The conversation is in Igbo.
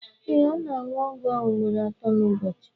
ee, na-aṅụ ọgwụ ahụ ugboro atọ n'ụbọchị